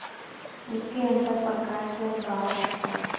उसके अंदर प्रकाश है बाहर आशा